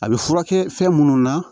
A bɛ furakɛ fɛn minnu na